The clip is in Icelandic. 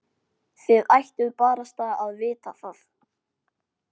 Þið ættuð barasta að vita það.